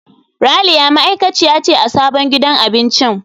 Ralia ma'aikaciya ce a sabon gidan abincin.